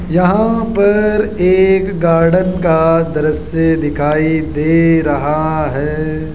यहां पर एक गार्डन का दृश्य दिखाई दे रहा है।